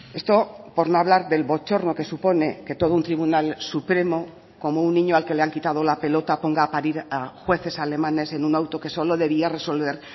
esto por no hablar del bochorno que supone que todo un tribunal supremo como un niño al que le han quitado la pelota ponga a parir a jueces alemanes en un auto que solo debía resolver